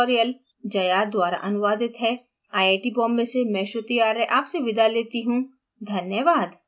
यह tutorial जया द्वारा अनुवादित है आई आई टी बॉम्बे से मैं श्रुति आर्य आपसे विदा लेती हूँ धन्यवाद